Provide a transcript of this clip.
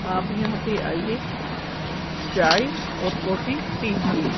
आप यहां पे आइए चाय और कॉफी पीजिए।